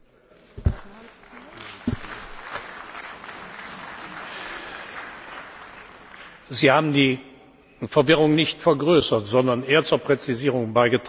Frau Harms, Sie haben die Verwirrung nicht vergrößert, sondern eher zur Präzisierung beigetragen.